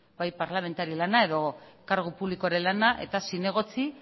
bai parlamentari lana edo kargu publikoaren lana eta zinegotzi